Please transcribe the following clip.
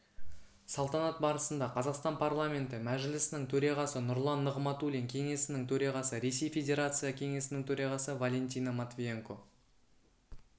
салтанат барысында қазақстан парламенті мәжілісінің төрағасы нұрлан нығматулин кеңесінің төрағасы ресей федерация кеңесінің төрағасы валентина матвиенко